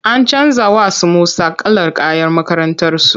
An canja wa su Musa kalar kayan makakrantarsu.